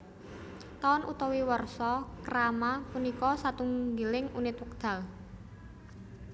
Taun utawi warsa krama punika satunggiling unit wekdal